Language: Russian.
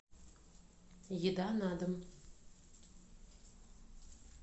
еда на дом